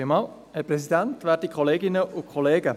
Kommissionspräsident der SAK.